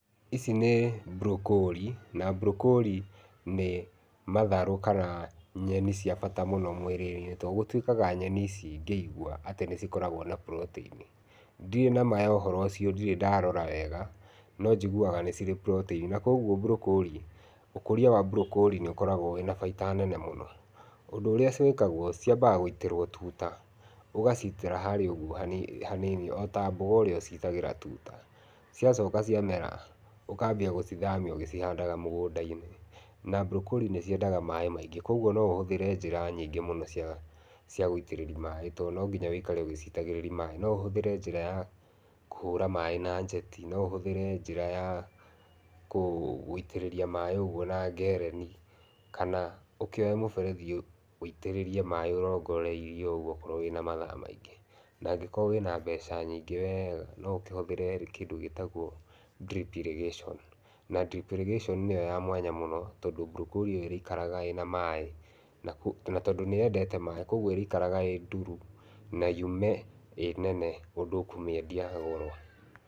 Ici nĩ mburokori, na mburokori nĩ matharũ kana nyeni cia bata mũno mwĩrĩinĩ, to gũtuĩkaga nyeni ici ngĩigua atĩ nĩcikoragwo na purotĩini. Ndirĩ nama ya ũhoro ũcio ndirĩ ndarora wega, no njiguaga nĩcirĩ na purotĩini. Na koguo mburokori ũkũria wa mburokori nĩ ũkoragwo wĩna bainda nene mũno. Ũndũ ũrĩa ciĩkagwo, ciambaga gũitĩrwo tuta, ũgacitĩra harĩa ũguo hanini ota mboga ũrĩa ũcitagĩra tuta. Cĩacoka cia mera, ũkambia gũcithamia ũgĩcihandaga mũgũndainĩ. Na mburokori nĩcienda maĩ maingĩ . Koguo no ũhũthĩre njĩra nyingĩ mũno cia cia gũitĩrĩria maĩ to noginya wĩikare ũgĩcitagĩrĩria maĩ. No ũhũthĩra njĩra ya kũhũra maĩ na njeti, no ũhũthĩre njĩra ya gũitĩrĩria maĩ ũguo na ngereni, kana ũkioye mũberethi wiitĩrĩirie maĩ ũrongoreirio ũguo okorwo wĩna mathaa maingĩ, nangĩkorwo wĩna mbeca nyingĩ wega no ũkĩhũthĩre kĩndĩ gĩtagwo Drip irrigation na Drip irrigation nĩyo ya mwanya mũno tondũ mburokori ĩrĩikaraga ĩna maĩ, na tondũ nĩyendete maĩ, koguo ĩrĩikaraga ĩ nduru ma yume ĩ nene ũndũ ũkũmĩendia goro.